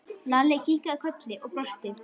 Lalli kinkaði kolli og brosti.